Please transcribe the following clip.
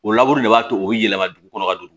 O laburu de b'a to u bɛ yɛlɛma dugu kɔnɔ ka don